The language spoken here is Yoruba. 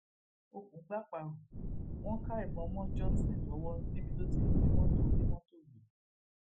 òkun gbàparò wọn ká ìbọn mọ johnson lọwọ níbi tó ti ń jí mọtò onímọtò gbé